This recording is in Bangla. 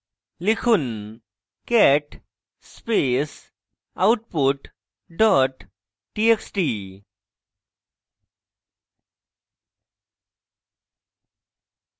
লিখুন: cat space output dot txt